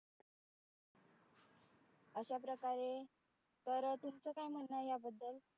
अशाप्रकारे तर तूमच काय म्हणणं आहे याबद्दल?